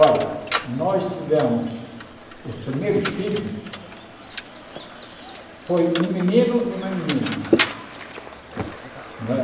Olha, nós tivemos os primeiros filhos, foi um menino e uma menina. Não é